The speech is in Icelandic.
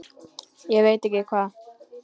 Ég veit ekki hvað